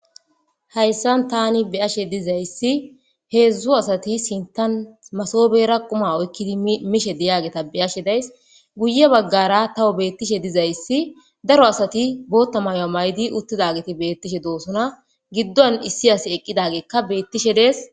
hayssan tani beyashe dizayssi heedzdzu asati sintan masobera quma oykkidi mishe deyageta beyashe days guye baggara tawo beettishe dizayssi daro asati bootta mayo maydi uttidagiti beettishe doosona giddon issi as eqqidageekka beettishe dees